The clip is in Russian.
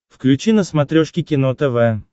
включи на смотрешке кино тв